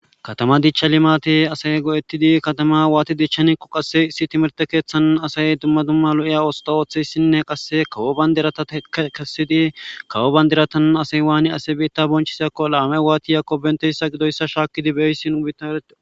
Katama dichcha limate asay go7ettidi katama waati dichchaniqo qasse issi timerte keeththan asay dumma dumma lo7iya osta ooththeyssinne qasse kawo bandirata kessidi kawo bandiratan asay waani ase biitta bonchisiakko laame waatiyakko benteyssa gidoyssa shaakkidi beysin ubitarede.